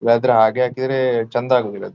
ಹಾಗೆ ಹಾಕಿದರೆ ಚೆಂದ ಆಗೋದಿಲ್ಲ ಅದು.